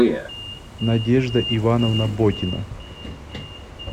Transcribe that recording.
надежда ивановна ботина